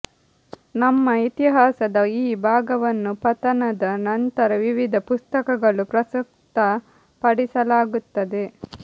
ನಮ್ಮ ಇತಿಹಾಸದ ಈ ಭಾಗವನ್ನು ಪತನದ ನಂತರ ವಿವಿಧ ಪುಸ್ತಕಗಳು ಪ್ರಸ್ತುತಪಡಿಸಲಾಗುತ್ತದೆ